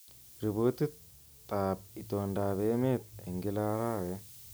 Ripotiab itondoab emet eng kila arawet